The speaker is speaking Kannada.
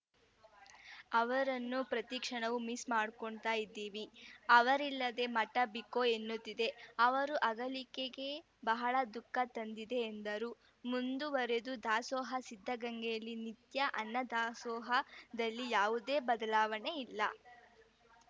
ಅವರನ್ನು ಪ್ರತಿ ಕ್ಷಣವೂ ಮಿಸ್‌ ಮಾಡ್ಕೊತ್ತಾ ಇದ್ದೀವಿ ಅವರಿಲ್ಲದ ಮಠ ಬಿಕೋ ಎನ್ನುತ್ತಿದೆ ಅವರು ಅಗಲಿಕೆ ಬಹಳ ದುಃಖ ತಂದಿದೆ ಎಂದರು ಮುಂದುವರಿದ ದಾಸೋಹ ಸಿದ್ಧಗಂಗೆಯಲ್ಲಿ ನಿತ್ಯ ಅನ್ನದಾಸೋಹ ದಲ್ಲಿ ಯಾವುದೇ ಬದಲಾವಣೆ ಇಲ್ಲ